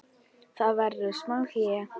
Það verður smá hlé.